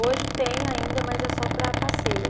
Hoje tem ainda, mas é só para passeio.